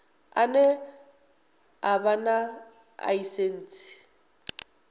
ane a vha na ḽaisentsi